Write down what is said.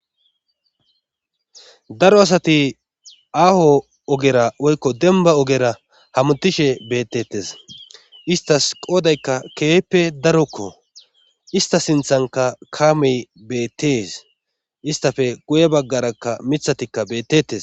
daro asati aaho ogera woykko denba ogera hamutishe beettetes istas qoodaykka keehippe darokko ista sinthanka kaamey beettees istafe guye baggarakka mithatikka bettetes